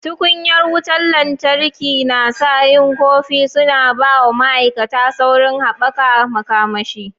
Tukunya wutan lantarki nsa yin kofi suna ba wa ma'aikata saurin haɓaka makamashi.